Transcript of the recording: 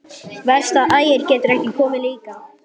Verst að Ægir getur ekki komið líka.